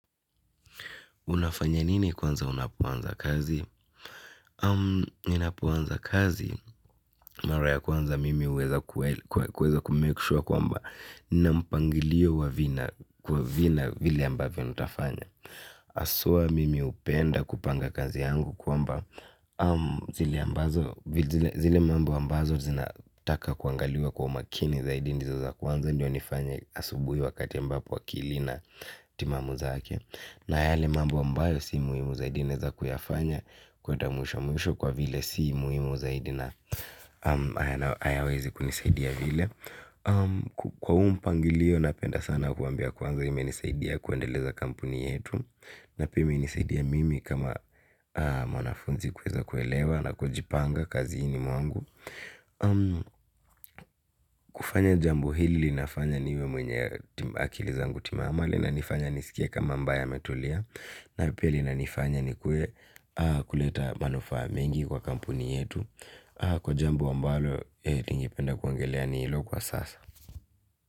Unafanya nini kwanza unapoanza kazi? Um, ninapoanza kazi mara ya kwanza mimi uweza kumake sure kwamba nampangilio wa vina kwa vina vile ambavyo nitafanya. Haswa mimi hupenda kupanga kazi yangu kwamba zile ambazo, zile mambo ambazo zinataka kuangaliwa kwa umakini zaidi ndizo za kwanza, ndio nifanya asubui wakati ambapo wakiti akili ina timamu zake. Na yale mambo ambayo sio muhimu zaidi naweza kuyafanya kuenda mwisho mwisho kwa vile sio muhimu zaidi na hayawezi kunisaidia vile. Kwa huu mpangilio napenda sana kuwaambia sana imenisaidia kuendeleza kampuni yetu na pia imenisaidia mimi kama mwanafunzi kuweza kuelewa na kujipanga kazini mwangu. Kufanya jambo hili linafanya niwe mwenye akili zangu timamu na inifanya nisikia kama ambaye metulia. Na pia inanifanya ni kuwe kuleta manufaa mengi kwa kampuni yetu. Kwa jambo ambalo ningipenda kuongelea ni hilo kwa sasa.